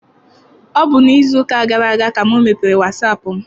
Ọ bụ n'izu ụka gara aga ka m mepere wasaapụ m.